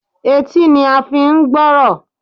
Etí ni a n fi n gbórò